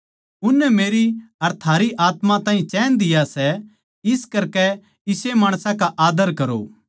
उननै मेरी अर थारी आत्मा ताहीं चैन दिया सै इस करकै इसे माणसां का आदर करो